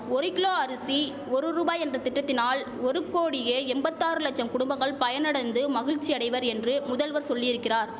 ஒரு கிலோ அரிசி ஒரு ரூபாய் என்ற திட்டத்தினால் ஒரு கோடியே எம்பத்தாறு லட்சம் குடும்பங்கள் பயனடந்து மகிழ்ச்சி அடைவர் என்று முதல்வர் சொல்லியிருக்கிறார்